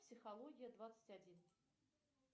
психология двадцать один